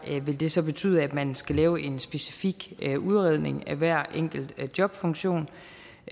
vil det så betyde at man skal lave en specifik udredning af hver enkelt jobfunktion